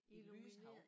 Illumineret